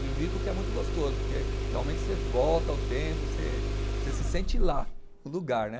De vir porque é muito gostoso, porque realmente você volta ao tempo, você, você se sente lá, no lugar, né?